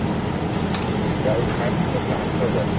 Price first ନେଇଥିଲା ଆଠ ହଜାର।